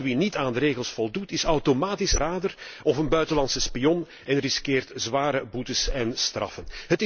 Al wie niet aan de regels voldoet, is automatisch een verrader of buitenlandse spion en riskeert zware boetes en straffen.